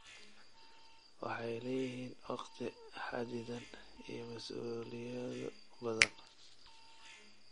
Waxay leeyihiin waqti xaddidan iyo mas'uuliyado badan.